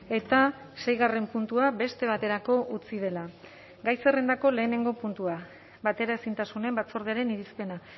eta seigarren puntua beste baterako utzi dela gai zerrendako lehenengo puntua bateraezintasunen batzordearen irizpena